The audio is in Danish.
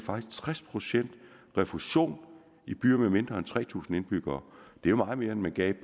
tres procent refusion i byer med mindre end tre tusind indbyggere det er meget mere end man gav